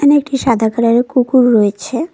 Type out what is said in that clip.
একটি সাদা কালার -এর কুকুর রয়েছে।